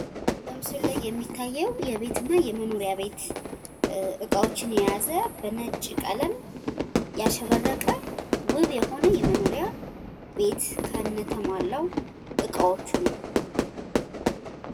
በምስሉ ላይ የሚታየው የቤት እና የመኖሪያ ቤት እቃዎችን የያዘ በነጭ ቀለም ያሸበረቀ ውብ የሆነ ቤት ከእነ ተሟላው እቃዎቹ ነው።